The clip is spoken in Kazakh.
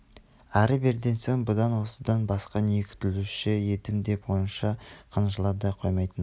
әрі-берден соң бұдан осыдан басқа не күтуші едім деп онша қынжыла да қоймайтын